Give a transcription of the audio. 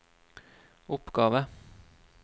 oppgave